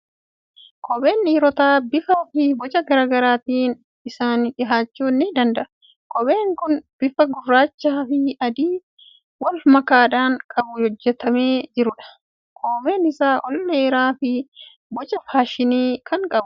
Kopheen dhiirotaa bifaa fi boca garaa garaatiin isaaniif dhiyaachuu ni danda'a. Kopheen kun bifa gurraachaa fi adii wal makaadhaan kan hojjetamee jirudha. Koomeen isaa ol ka'aa fi boca faashinii kan qabudha.